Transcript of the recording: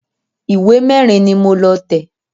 Ìwé mẹ́rin ni mo lọ tẹ̀